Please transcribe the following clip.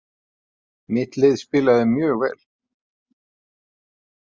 Mitt lið spilaði mjög vel.